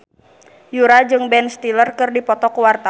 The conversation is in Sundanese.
Yura jeung Ben Stiller keur dipoto ku wartawan